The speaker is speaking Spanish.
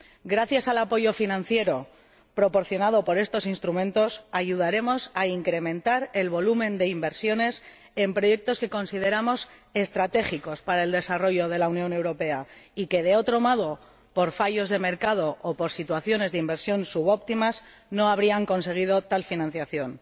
Gracias al apoyo financiero proporcionado por estos instrumentos, ayudaremos a incrementar el volumen de inversiones en proyectos que consideramos estratégicos para el desarrollo de la Unión Europea y que, de otro modo, por fallos de mercado o por situaciones de inversión subóptimas, no habrían conseguido tal financiación.